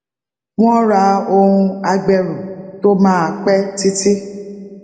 wón ra ohun agbẹrù tó máa pé títí